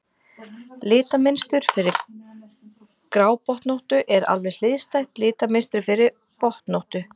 litamynstur fyrir grábotnóttu er alveg hliðstætt litamynstri fyrir botnóttu